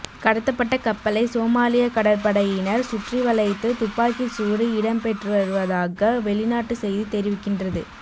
கடத்தப்பட்ட கப்பலை சோமாலிய கடற்படையினர் சுற்றிவளைத்து துப்பாக்கிச்சூடு இடம்பெற்றுவருவதாக வௌிநாட்டு செய்தி தெரிவிக்கின்றது